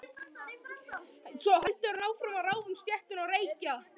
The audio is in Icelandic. Svo heldur hann áfram að ráfa um stéttina og reykja.